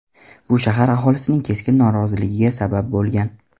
Bu shahar aholisining keskin noroziligiga sabab bo‘lgan.